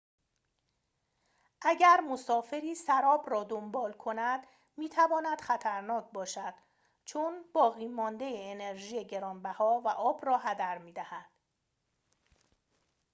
اگر مسافری سراب را دنبال کند می‌تواند خطرناک باشد چون باقی‌مانده انرژی گران‌بها و آب را هدر می‌دهد